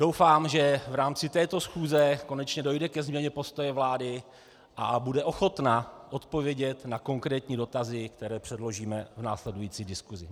Doufám, že v rámci této schůze konečně dojde ke změně postoje vlády a bude ochotna odpovědět na konkrétní dotazy, které předložíme v následující diskusi.